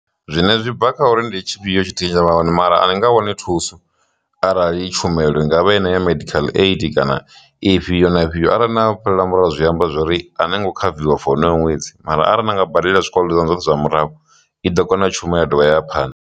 Zwiṅwe zwi bva kha uri ndi tshifhio tshithihi tshine tsha vha hone mara ani nga wani thuso arali tshumelo ingavha i ne ya medical aid kana ifhio na ifhio arali na fhelela murahu zwi amba zwori ani ngo khaviwa for honoyo ṅwedzi mara arali na nga badela zwikolodo zwoṱhe zwanu zwa murahu i ḓo kona u shuma ya dovha ya ya phanḓa.